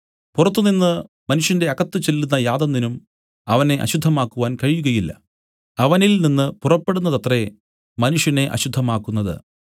പുറത്തുനിന്ന് മനുഷ്യന്റെ അകത്ത് ചെല്ലുന്ന യാതൊന്നിനും അവനെ അശുദ്ധമാക്കുവാൻ കഴിയുകയില്ല അവനിൽ നിന്നു പുറപ്പെടുന്നതത്രേ മനുഷ്യനെ അശുദ്ധമാക്കുന്നത്